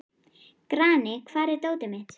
Grani, hvar er dótið mitt?